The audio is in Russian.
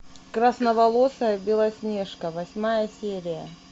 красноволосая белоснежка восьмая серия